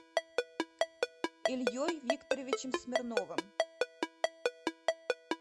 ильей викторовичем смирновым